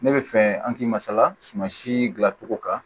Ne bɛ fɛ an k'i ma salasuman si dilancogo kan